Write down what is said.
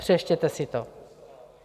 Přečtěte si to.